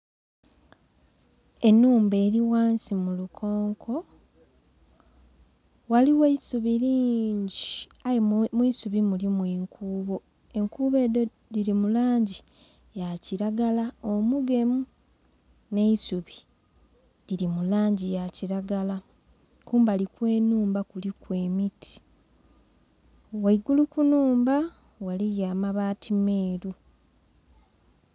Enhumba eri ghansi mulukonko ghaligho eisubi lingi aye mwiisubi mulimu enkubo. Enkubo edho dhiri mulangi yakilagala omugemu nheisuubi liri mulangi yakilagala kumbali okwnhumba kuli emiti ghaigulu kunhumba ghaligho amabaati meru